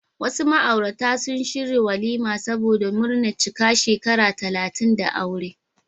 Wasu ma'aurata sun shirya walima saboda murnar cika shekara talatin da aure.